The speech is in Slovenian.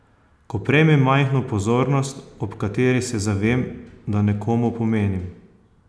Ko prejmem majhno pozornost, ob kateri se zavem, da nekomu pomenim.